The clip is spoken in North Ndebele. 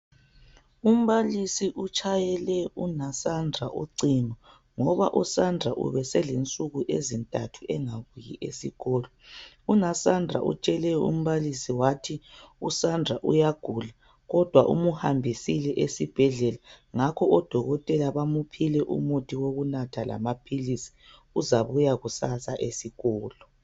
Umbalisi utshayela unaSandra ucingo ngoba uSandra ubeselensuku ezintathu engabuyi esikolo. UnaSandra utshele umbalisi ukuthi umntanakhe uyagula kodwa umhambisile esibhedlela odokotela bamuphe umuthi wokunatha uzabuya kusasa esikolo.